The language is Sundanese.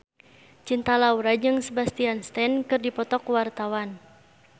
Cinta Laura jeung Sebastian Stan keur dipoto ku wartawan